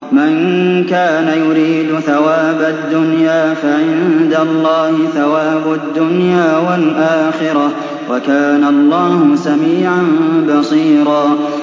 مَّن كَانَ يُرِيدُ ثَوَابَ الدُّنْيَا فَعِندَ اللَّهِ ثَوَابُ الدُّنْيَا وَالْآخِرَةِ ۚ وَكَانَ اللَّهُ سَمِيعًا بَصِيرًا